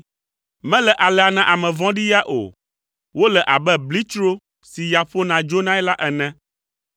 Mele alea na ame vɔ̃ɖi ya o! Wole abe blitsro si ya ƒona dzonae la ene.